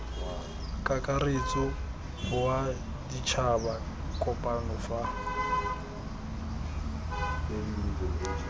kakaretso wa ditšhaba kopano fa